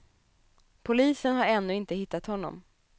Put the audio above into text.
Polisen har ännu inte hittat honom.